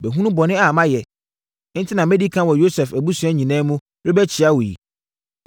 Mahunu bɔne a mayɛ, enti na madi ɛkan wɔ Yosef abusua nyinaa mu rebɛkyea wo yi.”